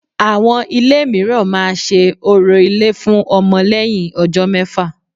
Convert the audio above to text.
Àwọn ilé míràn ma se orò ilé fun ọmọ lẹ́yìn ọjọ́ mẹ́fà